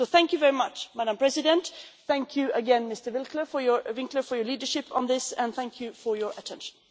So thank you very much Madam President, thank you again Mr Winkler for your leadership on this, and thank you for your attention.